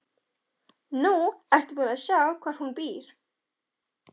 Nú ertu búin að sjá hvar hún býr.